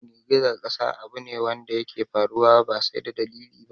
Girgizar ƙasa abu ne wadda yake faruwa ba sai da dalili ba